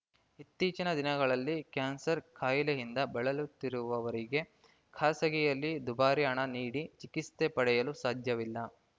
ಇತ್ತೀಚಿನ ದಿನಗಳಲ್ಲಿ ಕ್ಯಾನ್ಸರ್‌ ಕಾಯಿಲೆಯಿಂದ ಬಳಲುತ್ತಿರುವವರಿಗೆ ಖಾಸಗಿಯಲ್ಲಿ ದುಬಾರಿ ಹಣ ನೀಡಿ ಚಿಕಿತ್ಸೆ ಪಡೆಯಲು ಸಾಧ್ಯವಿಲ್ಲ